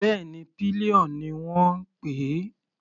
Bẹ́ẹ̀ni, pillion ni wọ́n ń pè é.